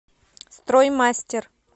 строймастер